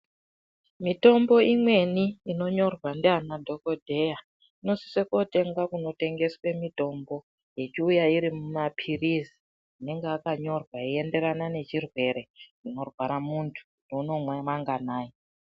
Mitombo imweni inonyorwa ndiana dhokodheya inosise kotengwa kunotengeswe mutombo yechiuya iri mumapirizi anenga akanyorwa yeienderana nechirwere chinorwara muntu kuti unomwe manganai.